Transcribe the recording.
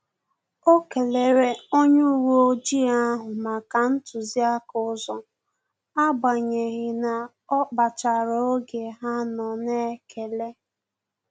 O kelere onye uwe ojii ahụ maka ntuziaka ụzọ, agbanyeghi na ọ kpachara oge ha nọ na-ekele